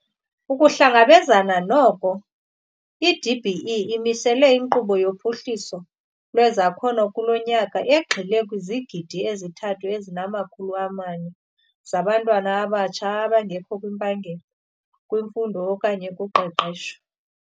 Ukuhlangabezana noko, i-DBE imisela inkqubo yophuhliso lwezakhono kulo nyaka egxile kwizigidi ezithathu ezinamakhulu amane zabantu abatsha abangekho kwimpangelo, kwimfundo okanye kuqeqesho.